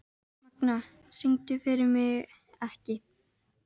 Magna, syngdu fyrir mig „Ekki“.